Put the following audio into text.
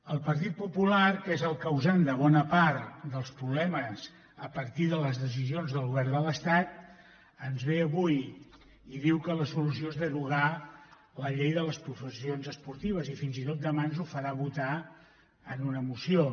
el partit popular que és el causant de bona part dels problemes a partir de les decisions del govern de l’estat ens ve avui i diu que la solució és derogar la llei de les professions esportives i fins i tot demà ens ho farà votar en una moció